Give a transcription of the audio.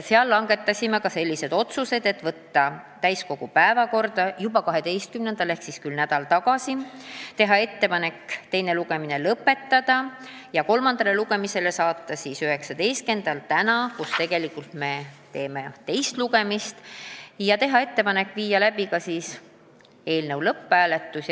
Siis langetasime sellised otsused: saata eelnõu täiskogu päevakorda juba 12-ndaks , teha ettepanek teine lugemine lõpetada ja saata eelnõu kolmandale lugemisele 19-ndaks, tänaseks, kui tegelikult on teine lugemine, ja teha ettepanek viia läbi eelnõu lõpphääletus.